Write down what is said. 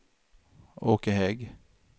Åke Hägg